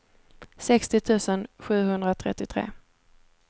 sextio tusen sjuhundratrettiotre